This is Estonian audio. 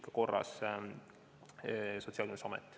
Kai Rimmel, palun!